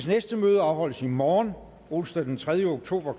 næste møde afholdes i morgen onsdag den tredje oktober